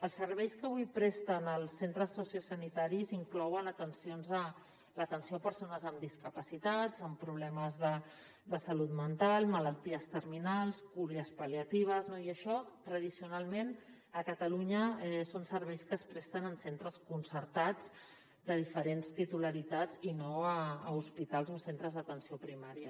els serveis que avui presten els centres sociosanitaris inclouen l’atenció a persones amb discapacitats amb problemes de salut mental malalties terminals cures pal·liatives no i això tradicionalment a catalunya són serveis que es presten en centres concertats de diferents titularitats i no a hospitals o centres d’atenció primària